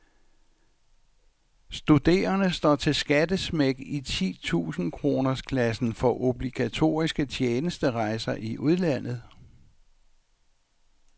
Studerende står til skattesmæk i titusind kroners klassen for obligatoriske tjenesterejser i udlandet.